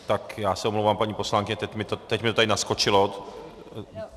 Tak já se omlouvám, paní poslankyně, teď mi to tady naskočilo.